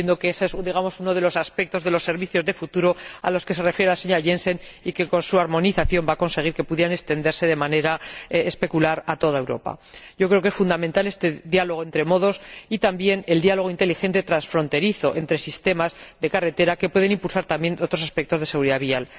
Yo entiendo que ese es uno de los aspectos de los servicios de futuro a los que se refiere la señora Jensen y que, con su armonización, va a conseguirse que puedan extenderse de manera espectacular a toda Europa. Creo que es fundamental este diálogo entre modos y también el diálogo inteligente transfronterizo entre sistemas de carretera, que pueden impulsar también otros aspectos de la seguridad vial.